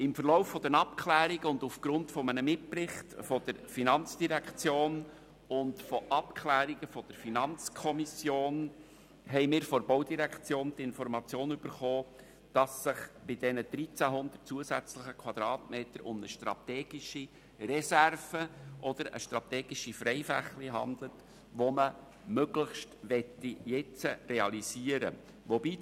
Im Verlauf der Abklärungen und aufgrund eines Mitberichts der FIN und Abklärungen der FiKo haben wir von der Baudirektion die Information erhalten, dass es sich bei den 1300 Quadratmetern um eine strategische Reserve oder strategische Freifläche handelt, die man möglichst jetzt realisieren möchte.